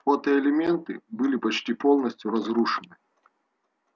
фотоэлементы были почти полностью разрушены